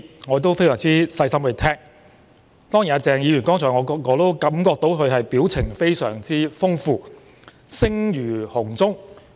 我非常細心聆聽他發表的一些意見，也感覺到鄭議員剛才的表情非常豐富、聲如洪鐘。